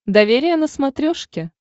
доверие на смотрешке